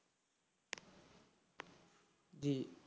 জি,